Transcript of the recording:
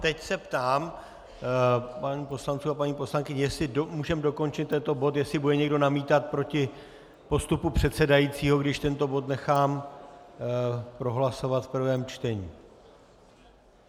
Teď se ptám pánů poslanců a paní poslankyň, jestli můžeme dokončit tento bod, jestli bude někdo namítat proti postupu předsedajícího, když tento bod nechám prohlasovat v prvém čtení.